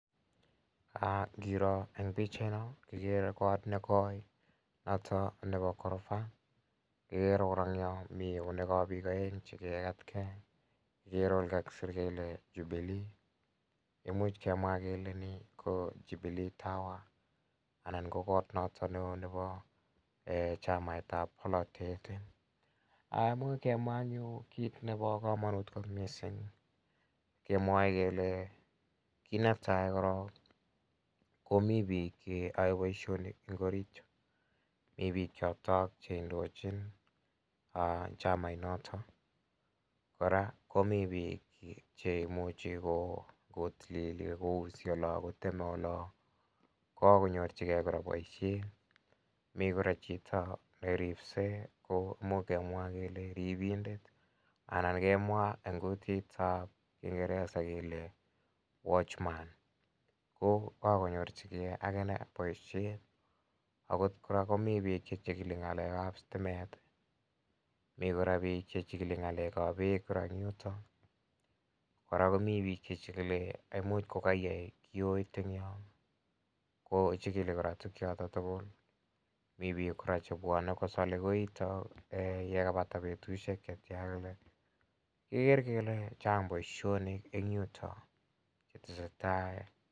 Aah! Ngiroo eng pichainon igere kot nekoi noto nebo korofa. Agere kora eng yon mi eunekab biik aeng chekegatke. Mi olekakisir kele jubilii. Imuch kemwa kele ni ko Jubilee Tower anan ko kot noto nebo chamaitab bolatet. Amu kemwa kemwa anyun kit nebo kamanut mising kemwoe kele kit netai korok komi biik cheyoe boisionik eng orit yu. Mi biik chotok che indochin chamainotok. Kora komi biik cheimuchi kotilili ak kouse olo ak koteme olo. Kagonyorchige kora boisiet. Mi kora chito neripse komuch kemwa kele ripindet anan kemwa en kutitab kingeresa kele watchman ko kagonyorchige ak inne boisiet. Agot kora komi biik che chigili ngalekab stimet. Mi kora biik che chigili ngalekab beek kora eng yutok. Kora komi biik che chigili, imuch ko kaige kiyoit eng yo. Kochigili kora tuguk choto tugul. Mi biik kora chebwone kosale koito yekapata betusiek che chang kole. Kekere kole chang boision en yuto chetasetai.